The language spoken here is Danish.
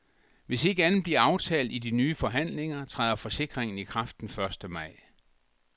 Hvis ikke andet bliver aftalt i de nye forhandlinger, træder forsikringen i kraft den første maj.